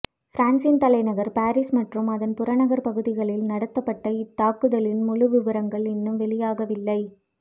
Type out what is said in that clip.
பிரான்சின் தலைநகர் பாரிஸ் மற்றும் அதன் புறநகர்ப் பகுதிகளில் நடத்தப்பட்ட இத் தாக்குதல்களின் முழு விபரங்கள் இன்னும் வெளியாகவில்லை